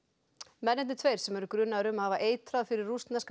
mennirnir tveir sem eru grunaðir um að hafa eitrað fyrir rússneska